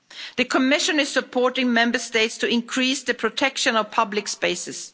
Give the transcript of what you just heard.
The Commission is supporting Member States to increase the protection of public spaces.